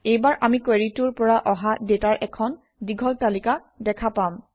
এইবাৰ আমি কুৱেৰিটোৰ পৰা অহা ডাটাৰ এখন দীঘল তালিকা দেখা পাম